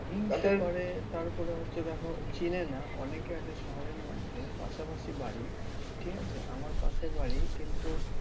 হিংসে করে তার ওপরে হয়তো দেখো চেনে না। অনেকে আছে শহরের মধ্যে পাশাপাশি বাড়ি ঠিক আছে আমার পাশে বাড়ি কিন্তু